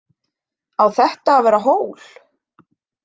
Á þetta að vera hól?